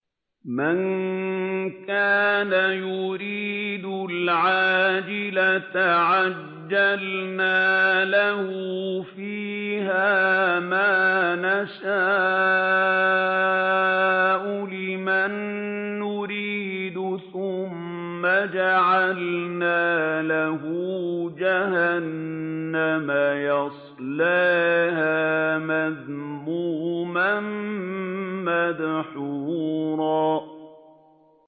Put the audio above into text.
مَّن كَانَ يُرِيدُ الْعَاجِلَةَ عَجَّلْنَا لَهُ فِيهَا مَا نَشَاءُ لِمَن نُّرِيدُ ثُمَّ جَعَلْنَا لَهُ جَهَنَّمَ يَصْلَاهَا مَذْمُومًا مَّدْحُورًا